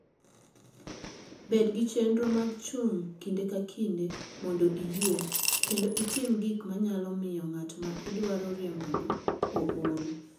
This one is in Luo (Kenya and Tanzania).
Bed gi chenro mar chung' kinde ka kinde mondo iyue kendo itim gik ma nyalo miyo ng'at ma idwaro riembono ool.